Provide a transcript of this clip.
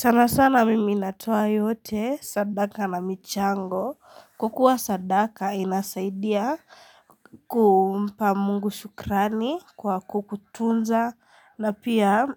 Sana sana mimi natoa yote sadaka na michango. Kwa kuwa sadaka inasaidia kumpa mungu shukrani kwa kukutunza na pia